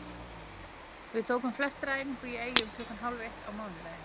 Við tókum flestir æfingu í Eyjum klukkan hálf eitt á mánudaginn.